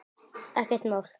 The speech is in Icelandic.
Ekkert mál.